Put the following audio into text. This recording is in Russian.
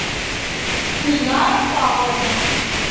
гульнара павловна